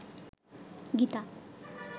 Gita